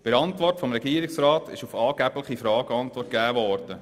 Bei der Antwort des Regierungsrats wurden auch «angebliche» Fragen beantwortet.